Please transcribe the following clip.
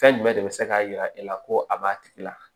Fɛn jumɛn de bɛ se k'a jira e la ko a b'a tigi la